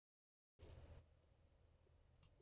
Er ekki mikill styrkur að fá þennan reynslubolta til Reynis?